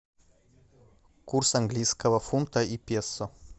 курс английского фунта и песо